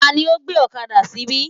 Tani ó gbé ọ̀kadà síbí?